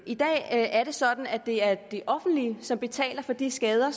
i dag er det sådan at det er det offentlige som betaler for de skader